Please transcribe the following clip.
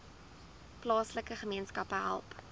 plaaslike gemeenskappe help